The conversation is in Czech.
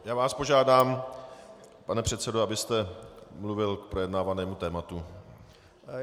Já vás požádám, pane předsedo, abyste mluvil k projednávanému tématu.